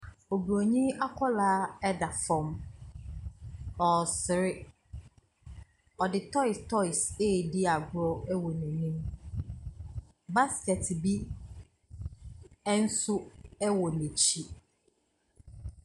Oburoni akwaraa da fam, ɔresere. Ɔde toes toes redi agorɔ wɔ n'anim. Basket bi nso wɔ n'akyi.